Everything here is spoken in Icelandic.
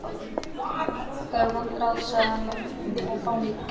Það eru vond ráð, sagði hann,-og fánýt.